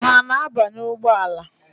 Ha ana-abanye ụgbọala?